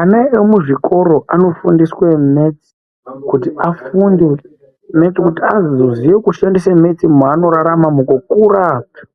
Ana emuzvikora anofundiswe metsi kuti azoziye zvekushandisa metsi mwavanorarama, mukukura,